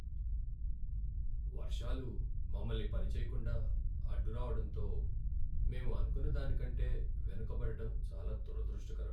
వర్షాలు మమ్మల్ని పని చేయకుండా అడ్డురావడంతో మేం అనుకున్న దానికంటే కంటే వెనుకపడటం చాలా దురదృష్టకరం.